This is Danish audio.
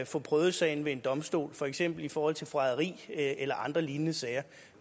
få prøvet sagen ved en domstol for eksempel i forhold til forræderi eller andre lignende sager